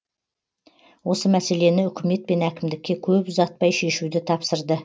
осы мәселені үкімет пен әкімдікке көп ұзатпай шешуді тапсырды